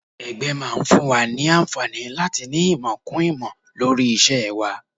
Ẹgbẹ́ máa ń fún wa ní àǹfààní láti ní ìmọ̀ kún ìmọ̀ lórí iṣẹ́ wa